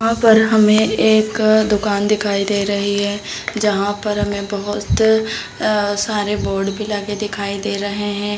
वहां पर हमें एक दुकान दिखाई दे रही है जहाँ पर हमें बहोत अ सारे बोर्ड भी लगे दिखाई दे रहे हैं ।